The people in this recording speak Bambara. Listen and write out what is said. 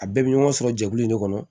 A bɛɛ bɛ ɲɔgɔn sɔrɔ jɛkulu in de kɔnɔ